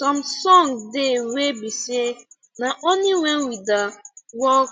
some song de wey be say na only when we da work